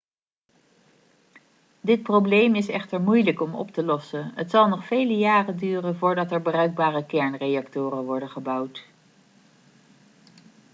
dit probleem is echter moeilijk om op te lossen het zal nog vele jaren duren voordat er bruikbare kernreactoren worden gebouwd